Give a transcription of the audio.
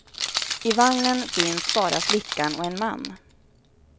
I vagnen finns bara flickan och en man.